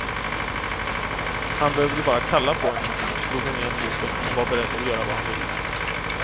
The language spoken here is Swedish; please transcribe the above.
Han behövde bara kalla på henne så slog hon igen boken och var beredd att göra vad han ville.